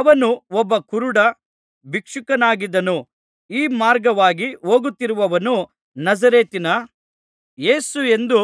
ಅವನು ಒಬ್ಬ ಕುರುಡ ಭಿಕ್ಷುಕನಾಗಿದ್ದನು ಈ ಮಾರ್ಗವಾಗಿ ಹೋಗುತ್ತಿರುವವನು ನಜರೇತಿನ ಯೇಸುವೆಂದು